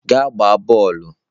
Gaa gbaa bọọlụ!